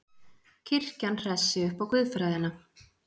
Kirkjan hressi upp á guðfræðina